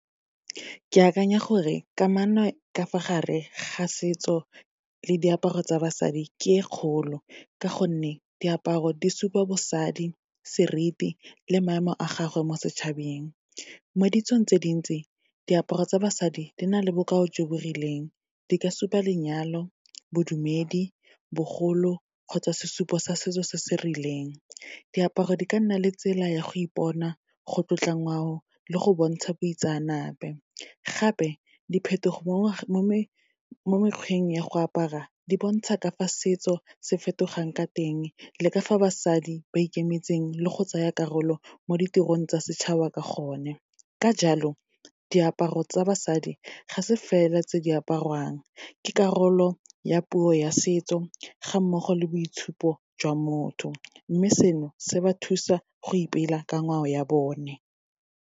Ke akanya gore kamano ka fa gare ga setso le diaparo tsa basadi, ke e kgolo, ka gonne diaparo di supa bosadi, seriti le maemo a gagwe mo setšhabeng. Mo ditsong tse dintsi, diaparo tsa basadi di na le bokao jo bo rileng, di ka supa lenyalo, bodumedi, bogolo kgotsa sesupo sa setso se se rileng. Diaparo di ka nna le tsela ya go ipona, go tlotla ngwao le go bontsha boitseanape. Gape diphetogo mo mekgweng ya go apara, di bontsha ka fa setso se fetogang ka teng, le ka fa basadi ba ikemetseng le go tsaya karolo mo ditirong tsa setšhaba ka gonne. Ka jalo, diaparo tsa basadi ga se fela tse di apariwang, ke karolo ya puo ya setso, ga mmogo le boitshupo jwa motho, mme seno se ba thusa go ipela ka ngwao ya bone.